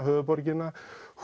höfuðborgina